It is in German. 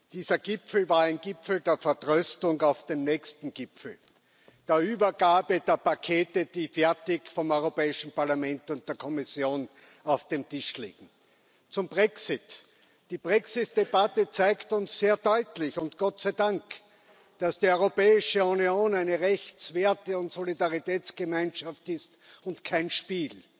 Dieser Gipfel war ein Gipfel der Vertröstung auf den nächsten Gipfel, der Übergabe der Pakete, die fertig vom Europäischen Parlament und der Kommission auf dem Tisch liegen. Zum Brexit Die Brexit Debatte zeigt uns sehr deutlich und Gott sei Dank, dass die Europäische Union eine Rechts Werte und Solidaritätsgemeinschaft ist und kein Spiel.